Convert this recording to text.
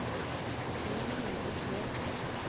ni hundre og tre